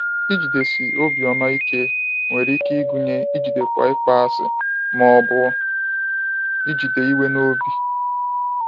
Ijidesi obiọma ike nwere ike ịgụnye ijidekwa ịkpọasị ma ọ bụ ijide iwe n’obi.